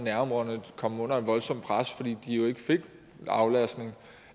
komme under et voldsomt pres fordi de ikke fik aflastning